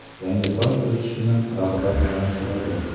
Yangi soch o‘sishini rag‘batlantiradi.